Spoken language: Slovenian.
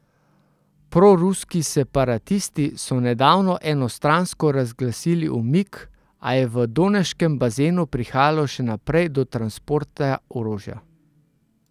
Proruski separatisti so nedavno enostransko razglasili umik, a je v Doneškem bazenu prihajalo še naprej do transporta orožja.